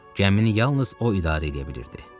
Gəmini yalnız o idarə eləyə bilirdi.